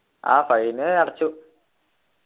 ആഹ് fine അടച്ചു